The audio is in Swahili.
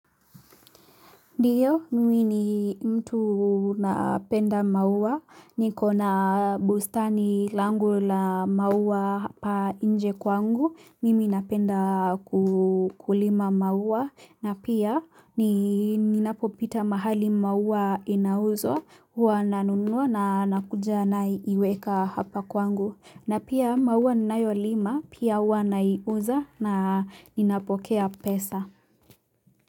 Ndiyo, mimi ni mtu napenda mawa, niko na bustani langu la maua hapa inje kwangu, mimi napenda kulima maua, na pia ninapopita mahali maua inauzwa, huwa nanunua na nakuja naiweka hapa kwangu, na pia maua ninayolima, pia huwa naiuza na ninapokea pesa.